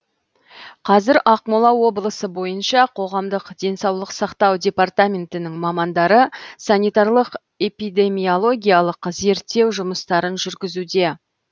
қазір ақмола облысы бойынша қоғамдық денсаулық сақтау департаментінің мамандары санитарлық эпидемиологиялық зерттеу жұмыстарын жүргізуде